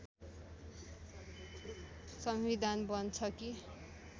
संविधान बन्छ कि